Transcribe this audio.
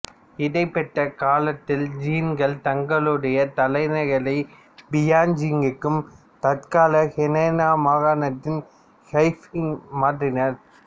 இடைப்பட்ட காலத்தில் ஜின்கள் தங்களுடைய தலைநகரை பியான்ஜிங்குக்கு தற்கால ஹெனான் மாகாணத்தின் கைஃபெங் மாற்றினர்